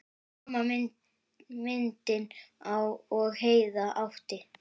Sama myndin og Heiða átti.